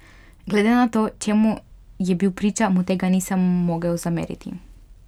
Glede na to, čemu je bil priča, mu tega nisem mogel zameriti.